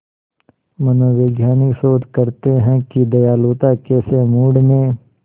मनोवैज्ञानिक शोध करते हैं कि दयालुता कैसे मूड में